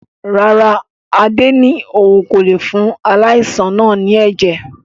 Rárá, Adé ni òun kò lé fún aláìsàn náà ni ẹ̀jẹ̀